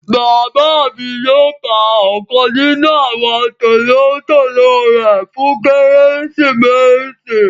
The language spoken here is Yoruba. Bàbà mi yóò pá ọ̀kan nínu àwọn tólotòlò rẹ fún Keresimesì.